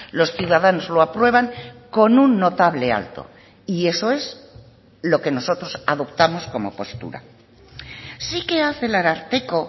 los ciudadanos lo aprueban con un notable alto y eso es lo que nosotros adoptamos como postura sí que hace el ararteko